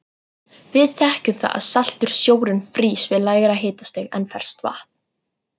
Við þekkjum það að saltur sjórinn frýs við lægra hitastig en ferskt vatn.